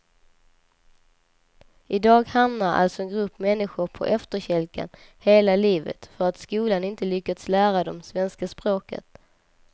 I dag hamnar alltså en grupp människor på efterkälken hela livet för att skolan inte lyckats lära dem svenska språket.